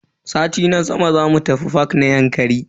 Sati na sama zamu tafi fak na Yankari.